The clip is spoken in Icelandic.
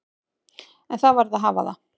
En það varð að hafa það.